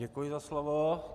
Děkuji za slovo.